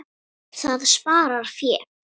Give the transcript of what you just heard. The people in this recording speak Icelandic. Það sparar fé.